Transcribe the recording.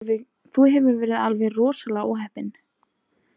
Þú hefur verið alveg rosalega óheppinn